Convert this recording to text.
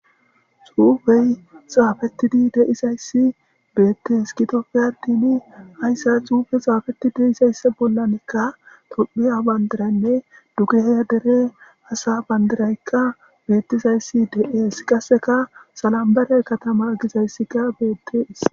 Xuufey xaafettidi deizayssi beettes kitofe adini hayssa xuufe xaafeti deisayssa bollanekka tophiya bandiraynne dugehe dere hasa bandiraykka beettizayssi de'ees qasseka salambarey katama gizayssika beetteis.